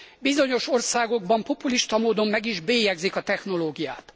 Bizonyos országokban populista módon meg is bélyegzik a technológiát.